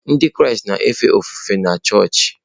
Ndị Kraịst na-efe ofufe na chọọchị.